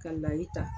Ka layi ta